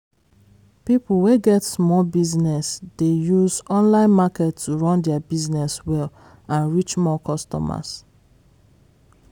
people wey get small business dey use online market to run their business well and reach more customers.